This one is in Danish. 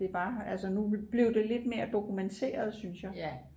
at det var altså nu blev det lidt mere dokumenteret synes jeg